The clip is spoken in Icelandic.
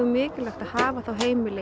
mikilvægt að hafa heimili